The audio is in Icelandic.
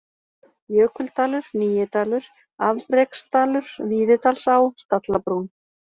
Jökuldalur (Nýidalur), Afreksdalur, Víðidalsá, Stallabrún